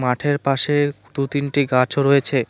মাঠের পাশের দুটো তিনটি গাছও রয়েছে।